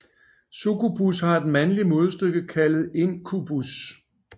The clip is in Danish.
Succubus har et mandligt modstykke kaldet Incubus